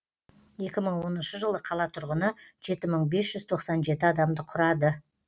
екі мың оныншы жылы қала тұрғыны жеті мың бес жүз тоқсан жеті адамды құрады